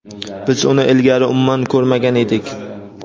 biz uni ilgari umuman ko‘rmagan edik.